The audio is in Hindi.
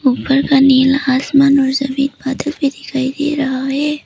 ऊपर का नीला आसमान और सफेद बादल भी दिखाई दे रहा है।